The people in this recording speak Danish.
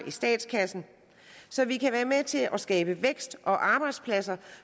i statskassen så vi kan være med til at skabe vækst og arbejdspladser